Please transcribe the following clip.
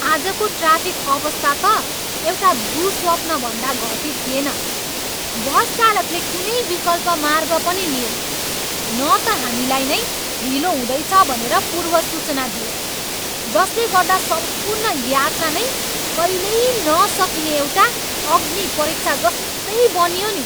आजको ट्राफिक अवस्था त एउटा दुःस्वप्न भन्दा घटी थिएन। बस चालकले कुनै विकल्पमार्ग पनि लिएन न त हामीलाई नै ढिलो हुँदैछ भनेर पूर्वसूचना दियो, जसले गर्दा सम्पूर्ण यात्रा नै कहिल्यै नसकिने एउटा अग्निपरीक्षा जस्तै बनियो नि।